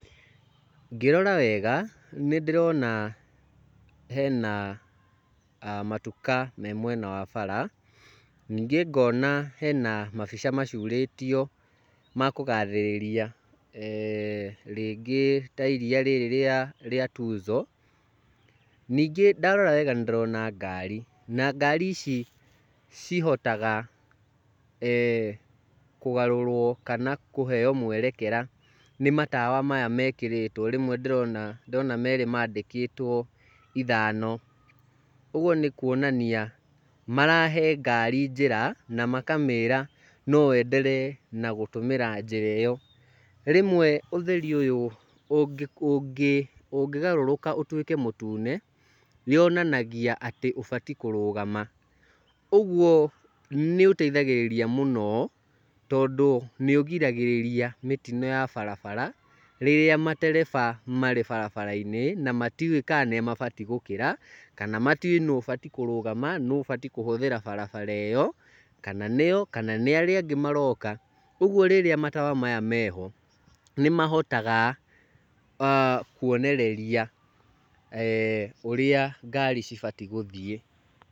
Ngĩrora wega nĩndĩrona hena matuka me mwena wa bara, ningĩ ngona hena mabica macurĩtio ma kũga thĩrĩria rĩngĩ ta ee iria rĩrĩ rĩa rĩa Tuzo. Ningĩ ndarora wega nĩndĩrona ngari, na ngari ici cihotaga ee kũgarũrwo kana kũheo mwerekera nĩ matawa maya mekĩrĩtwo. Rĩmwe ndĩrona ndĩrona merĩ mandĩkĩtwo ithano, ũguo nĩ kuonania marahe ngari njĩra na makamĩra no ĩenderee na gũtũmĩra njĩra ĩyo. Rĩmwe ũtheri ũyũ ũngĩgarũrũka ũtuĩke mũtune, yonanagia atĩ ũbatiĩ kũrũgama, ũguo nĩũteithagĩrĩria mũno tondũ nĩũgiragĩrĩria mĩtino ya barabara rĩrĩa matereba marĩ barabara-inĩ, matiũĩ kana nĩmabatiĩ gũkĩra kana matiũĩ nũũ ũbatiĩ kũrũgama nũũ ũbatiĩ kũhũthĩra barabara ĩyo, kana nĩo kana nĩ arĩa angĩ maroka, kuoguo rĩrĩa matawa maya meho, nĩmahotaga kuonereria ũrĩa ngari cibatiĩ gũthiĩ.